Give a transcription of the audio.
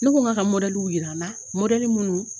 Ne ko n k'a ka jira an na minnu